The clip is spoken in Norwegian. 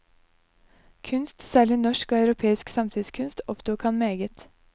Kunst, særlig norsk og europeisk samtidskunst, opptok ham meget.